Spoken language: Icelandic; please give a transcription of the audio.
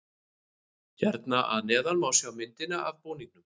Hér að neðan má sjá myndina af búningunum.